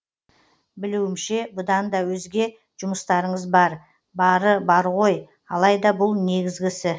білуімше бұдан да өзге жұмыстарыңыз бар бары бар ғой алайда бұл негізгісі